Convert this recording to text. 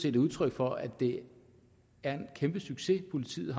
et udtryk for at det er en kæmpe succes politiet